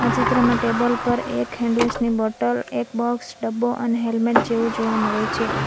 આ ચિત્રમાં ટેબલ પર એક હેન્ડવોશ ની બોટલ એક બોક્સ ડબ્બો અને હેલ્મેટ જેવુ જોવા મળે છે.